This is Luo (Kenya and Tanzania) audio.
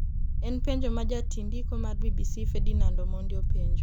en penjo ma jatindiko mar BBC Fedinand Omondi openjo